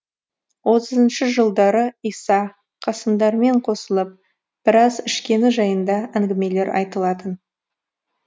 отызыншы жылдары иса қасымдармен қосылып біраз ішкені жайында әңгімелер айтылатын